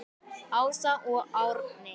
Minning um góðan dreng lifir.